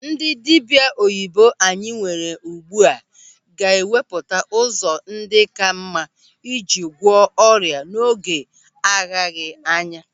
Ndị dibịa oyibo anyị nwere ugbu a ga-ewepụta ụzọ ndị ka mma iji gwọọ ọrịa n'oge agaghị anya.